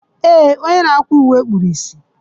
Ee, onye na akwa uwe kpuru ìsì